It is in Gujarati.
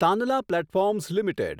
Tanla platforms limited